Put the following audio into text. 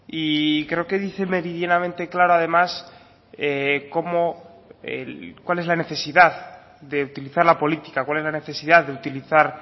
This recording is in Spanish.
y creo que dice meridianamente claro además cómo cuál es la necesidad de utilizar la política cuál es la necesidad de utilizar